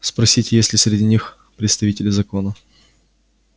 спросите есть ли среди них представители закона